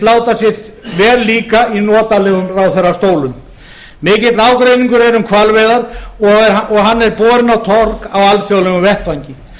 láta sér vel líka í notalegum ráðherrastólum mikill ágreiningur er um hvalveiðar og hann er borinn á torg á alþjóðlegum vettvangi